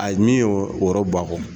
Ayi ni y'o o wɔɔrɔ ba kɔ